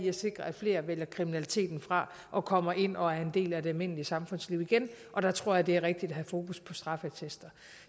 at sikre at flere vælger kriminaliteten fra og kommer ind og er en del af det almindelige samfundsliv igen og der tror jeg det er rigtigt at have fokus på straffeattester